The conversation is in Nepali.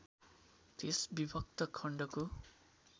त्यस विभक्त खण्डको